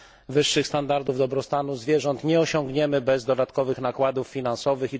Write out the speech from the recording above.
Wyższych standardów dobrostanu zwierząt nie osiągniemy bez dodatkowych nakładów finansowych.